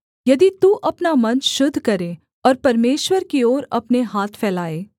यदि तू अपना मन शुद्ध करे और परमेश्वर की ओर अपने हाथ फैलाए